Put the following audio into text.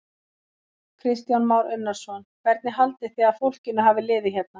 Kristján Már Unnarsson: Hvernig haldið þið að fólkinu hafi liðið hérna?